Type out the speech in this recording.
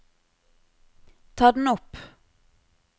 ta den opp